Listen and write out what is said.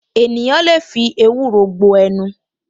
Ènìyàn lè fi ewúro gbo ẹnu